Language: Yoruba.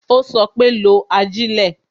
Ó sọ pé "lo ajilẹ"